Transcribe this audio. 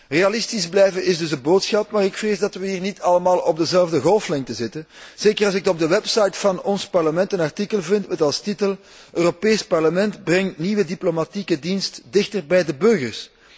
Realistisch blijven is dus de boodschap, maar ik vrees dat we hier niet allemaal op dezelfde golflengte zitten, zeker als ik op de website van ons Parlement een artikel vind met als titel Europees Parlement brengt nieuwe diplomatieke dienst dichter bij de burgers.